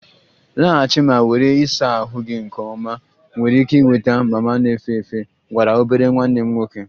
Laghachi ma were ịsa ahụ gị nke ọma! Ị nwere ike ịnweta mama na-efe efe gwara obere nwanne m nwoke